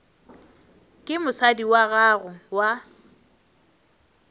ke mosadi wa gago wa